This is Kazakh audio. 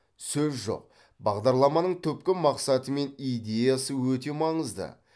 сөз жоқ бағдарламаның түпкі мақсаты мен идеясы өте маңызды